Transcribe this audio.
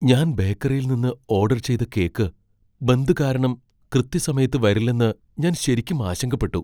ഞാൻ ബേക്കറിയിൽ നിന്ന് ഓഡർ ചെയ്ത കേക്ക് ബന്ദ് കാരണം കൃത്യസമയത്ത് വരില്ലെന്ന് ഞാൻ ശരിക്കും ആശങ്കപ്പെട്ടു.